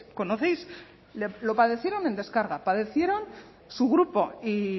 conocéis lo padecieron en deskarga padecieron su grupo y